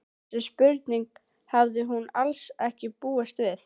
Þessari spurningu hafði hún alls ekki búist við.